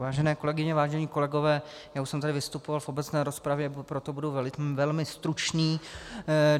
Vážené kolegyně, vážení kolegové, já už jsem tady vystupoval v obecné rozpravě, proto budu velmi stručný.